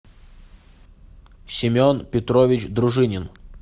семен петрович дружинин